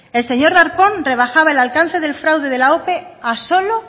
el señor darpón rebajaba el alcance del fraude de la ope a un solo